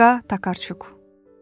Olqa Takarçuk.